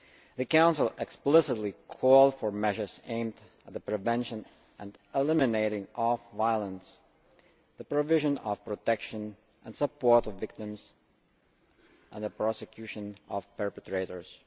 The Council explicitly called for measures aimed at the prevention and elimination of violence, the provision of protection and support to victims, and the prosecution of perpetrators.